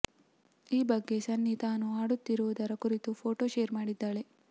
ಈ ಬಗ್ಗೆ ಸನ್ನಿ ತಾನು ಹಾಡುತ್ತಿರುವುದರ ಕುರಿತು ಫೊಟೋ ಶೇರ್ ಮಾಡಿದ್ದಾಳೆ